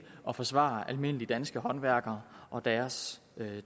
og forsvare almindelige danske håndværkere og deres